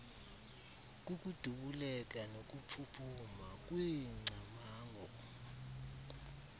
kukudubuleka nokuphuphuma kweengcamango